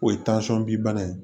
O ye bi bana ye